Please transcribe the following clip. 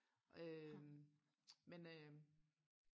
øh men øh